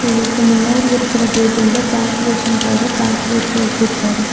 இவருக்கு முன்னாடி இருக்குற டேபிள்ல கேல்குலேஷன்காக கெல்குலேட்டர் வெச்சிருக்காரு.